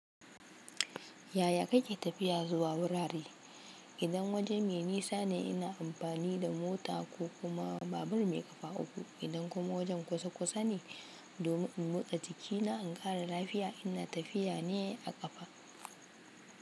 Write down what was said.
Yaya kake tafiya zuwa wurare? Idan waje mai nisane ina amfani da mota ko kuma babur mai ƙafa uku. Idan kuma wajen kusa kusane domin in motsa jikina in ƙara lafiya ina tafiyane a ƙafa.